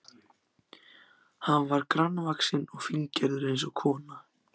Hann var grannvaxinn og fíngerður eins og kona.